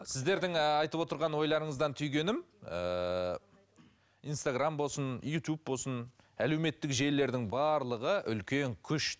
сіздердің ыыы айтып отырған ойларыңыздан түйгенім ыыы инстаграмм болсын ютуб болсын әлеуметтік желілердің барлығы үлкен күш